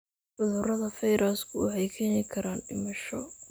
Cudurada fayrasku waxay keeni karaan dhimasho.